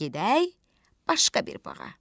Gedək başqa bir bağa.